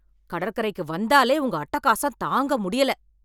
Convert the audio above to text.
கடற்கரைக்கு வந்தாலே உங்க அட்டகாசம் தாங்க முடியல